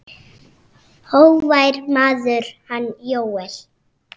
Hógvær maður, hann Jóel.